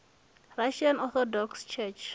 russian orthodox church